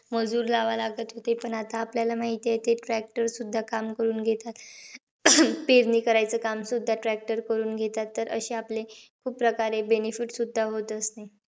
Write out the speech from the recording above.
मजूर लावावे लागत होते. पण आता, आपल्याला माहितयं की, tractor सुद्धा काम करून घेतात. पेरणी करायचं काम सुद्धा tractor करून घेतात. तर अशे आपले, benefit होत असते